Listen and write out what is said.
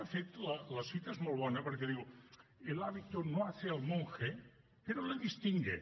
de fet la cita és molt bona perquè diu el hábito no hace al monje pero le distingue